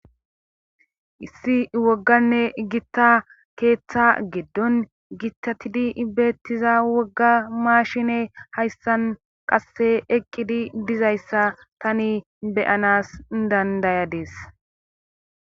issi wogganne igitta keeththa geddon gitatidi ibeettiza wogga maashine hayssan qasse eqqidi dizayssa tani beyanas dandayadees